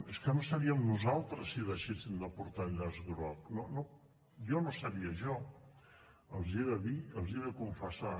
és que no seríem nosaltres si deixéssim de portar el llaç groc jo no seria jo els hi he de dir els hi he de confessar